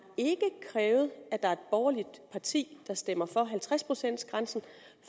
krævet at der er et borgerligt parti der stemmer for halvtreds procents grænsen